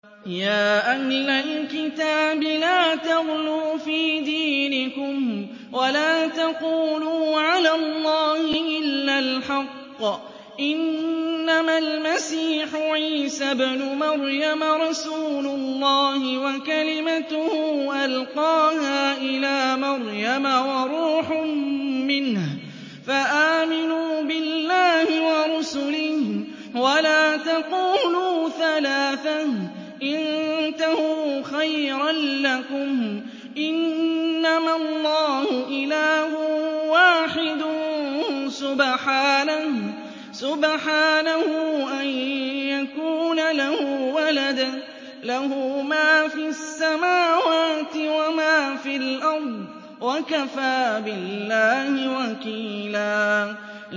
يَا أَهْلَ الْكِتَابِ لَا تَغْلُوا فِي دِينِكُمْ وَلَا تَقُولُوا عَلَى اللَّهِ إِلَّا الْحَقَّ ۚ إِنَّمَا الْمَسِيحُ عِيسَى ابْنُ مَرْيَمَ رَسُولُ اللَّهِ وَكَلِمَتُهُ أَلْقَاهَا إِلَىٰ مَرْيَمَ وَرُوحٌ مِّنْهُ ۖ فَآمِنُوا بِاللَّهِ وَرُسُلِهِ ۖ وَلَا تَقُولُوا ثَلَاثَةٌ ۚ انتَهُوا خَيْرًا لَّكُمْ ۚ إِنَّمَا اللَّهُ إِلَٰهٌ وَاحِدٌ ۖ سُبْحَانَهُ أَن يَكُونَ لَهُ وَلَدٌ ۘ لَّهُ مَا فِي السَّمَاوَاتِ وَمَا فِي الْأَرْضِ ۗ وَكَفَىٰ بِاللَّهِ وَكِيلًا